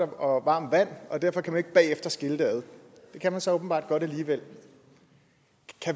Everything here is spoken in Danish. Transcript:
og varmt vand og derfor kunne man ikke bagefter skille det ad det kan man så åbenbart godt alligevel